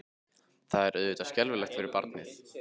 Það er auðvitað skelfilegt fyrir barnið.